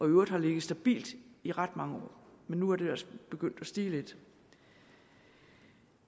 øvrigt har ligget stabilt i ret mange år men nu er det altså begyndt at stige lidt